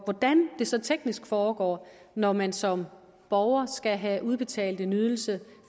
hvordan det så teknisk foregår når man som borger skal have udbetalt en ydelse